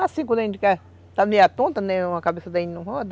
Assim, quando a gente está meio tonta, né, a cabeça da gente não roda?